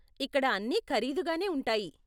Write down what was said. ఇక్కడ అన్నీ ఖరీదుగానే ఉంటాయి.